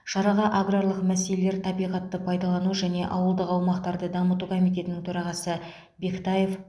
шараға аграрлық мәселелер табиғатты пайдалану және ауылдық аумақтарды дамыту комитетінің төрағасы бектаев